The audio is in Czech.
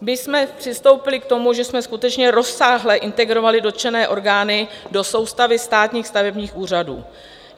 My jsme přistoupili k tomu, že jsme skutečně rozsáhle integrovali dotčené orgány do soustavy státních stavebních úřadů.